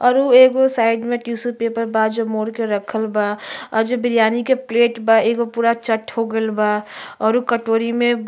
और उ एगो साइड मे टिश्यू पेपर बा जो मोड़के रखल बा और जे बिरयानी के प्लेट बा एगो पूरा चट हो गईल बा और उ कटोरी मे --